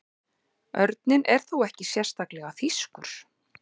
Örninn er þó ekki sérstaklega þýskur.